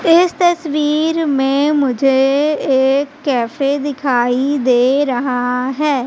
इस तस्वीर में मुझे एक कैफे दिखाई दे रहा हैं।